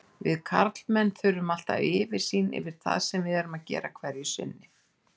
Við karlmenn þurfum alltaf yfirsýn yfir það sem við erum að gera hverju sinni.